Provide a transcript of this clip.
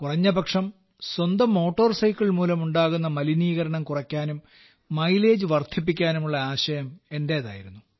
കുറഞ്ഞപക്ഷം സ്വന്തം motor cycle മൂലമുണാകുന്ന മലിനീകരണം കുറയ്ക്കാനും മൈലേജ് വർദ്ധിപ്പിക്കാനുമുള്ള ആശയം എന്റേതായിരുന്നു